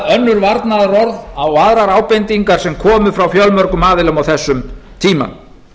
önnur varnaðarorð á aðrar ábendingar sem komu frá fjölmörgum aðilum á þessum tíma